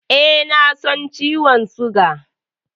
E, na san ciwon suga.